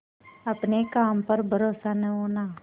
अपने काम पर भरोसा न होना